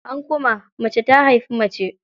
An kuma, mace ta haifi mace.